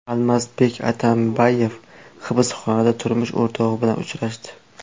Almazbek Atambayev hibsxonada turmush o‘rtog‘i bilan uchrashdi.